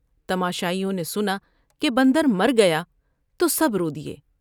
تماشائیوں نے سنا کہ بندر مر گیا تو سب رود یے ۔